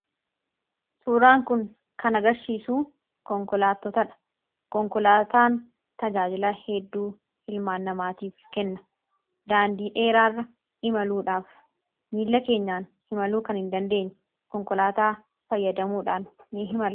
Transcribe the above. suuraan kun kana garsiisu konkolaatotaa dha konkolaataan tajaajila hedduu hilmaannamaatiif kenna daandii dheeraarra imaluudhaaf miila keenyaan himaluu kan hin dandeenye konkolaataa fayyadamuudhaan ni himara